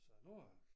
Så nu øh